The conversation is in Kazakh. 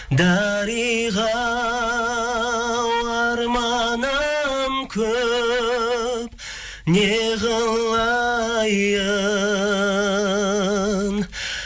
дариға ау арманым көп не қылайын